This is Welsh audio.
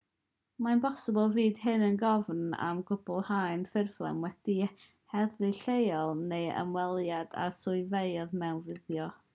mae'n bosibl fydd hyn yn gofyn am gwblhau ffurflen gyda'r heddlu lleol neu ymweliad â'r swyddfeydd mewnfudo